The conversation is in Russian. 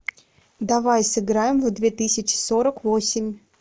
давай сыграем в две тысячи сорок восемь